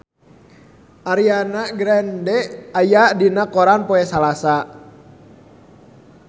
Ariana Grande aya dina koran poe Salasa